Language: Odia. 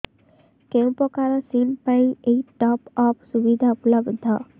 କେଉଁ ପ୍ରକାର ସିମ୍ ପାଇଁ ଏଇ ଟପ୍ଅପ୍ ସୁବିଧା ଉପଲବ୍ଧ